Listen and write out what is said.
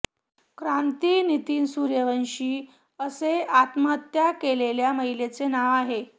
क्रांती नितीन सूर्यवंशी असे हात्महत्या केलेल्या महिलेचे नाव आहे